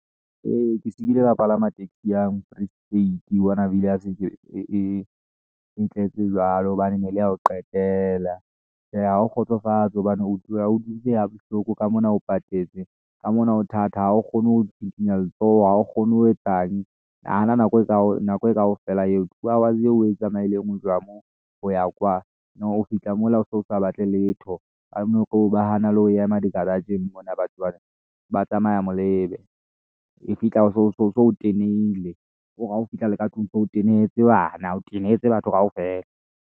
Ee, ke se ki le ka palama taxi e yang Free State, wa bona e tletse jwalo hobane nele ya ho qetela. Tjhe, ha ho kgotsofatse hobane o tloha o dutse ha bohloko ka mona, o patetse ka mona ho thata ha o kgone ho tsitsinya letsoho ha o kgone ho etsang. Nahana nako e kaofela eo two hours eo o e tsamaileng ho tloha moo ho ya kwa, bo o fihla mola o so sa batle letho ka mona ba hana le ho ema di-garage-ing mona batho bana ba tsamaya molebe e fihla o so o tenehile, kore ha o fihla le ka tlung so tenehetse bana o tenehetse batho kaofela.